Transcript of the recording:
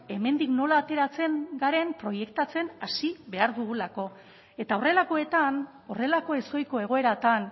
hemendik nola ateratzen garen proiektatzen hasi behar dugulako eta horrelakoetan horrelako ezohiko egoeratan